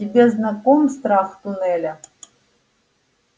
тебе знаком страх туннеля